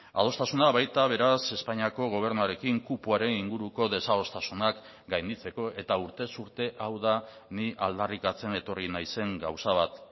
adostasuna baita beraz espainiako gobernuarekin kupoaren inguruko desadostasunak gainditzeko eta urtez urte hau da ni aldarrikatzen etorri naizen gauza bat